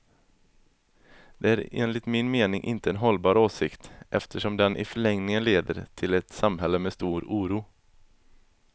Det är enligt min mening inte en hållbar åsikt, eftersom den i förlängningen leder till ett samhälle med stor oro.